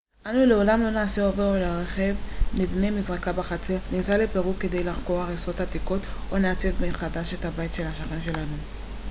אנו לעולם לא נעשה אוברול לרכב נבנה מזרקה בחצר ניסע לפרו כדי לחקור הריסות עתיקות או נעצב מחדש את הבית של השכן שלנו